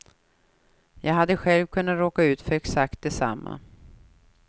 Jag hade själv kunnat råka ut för exakt detsamma.